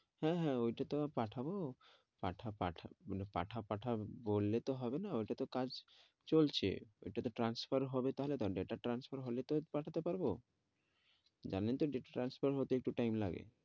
হ্যাঁ হ্যাঁ ওই টা তো পাঠাবো পাঠাও পাঠাও বললে তো হবে না ওই টা তো কাজ চলছে ওই টা তো transfer হবে তাহলে তো data transfer হলে পাঠাতে পারবো জানেন তো data transfer হতে একটু time লাগে।